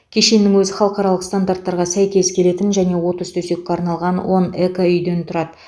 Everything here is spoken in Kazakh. кешеннің өзі халықаралық стандарттарға сәйкес келетін және отыз төсекке арналған он экоүйден тұрады